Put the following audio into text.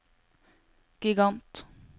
gigant